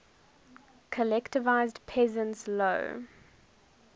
collectivized peasants low